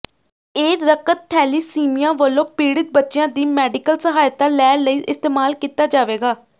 ਇਹ ਰਕਤ ਥੈਲੀਸੀਮਿਆ ਵਲੋਂ ਪੀਡ਼ਿਤ ਬੱਚੀਆਂ ਦੀ ਮੇਡੀਕਲ ਸਹਾਇਤਾ ਲੈ ਲਈ ਇਸਤੇਮਾਲ ਕੀਤਾ ਜਾਵੇਗਾ